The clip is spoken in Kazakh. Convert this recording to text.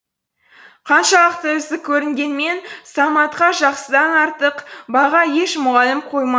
қаншалықты үздік көрінгенімен саматқа жақсыдан артық баға еш мұғалім қойма